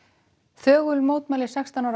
þögul mótmæli sextán ára